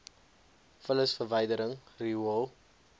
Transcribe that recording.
vullis verwydering riool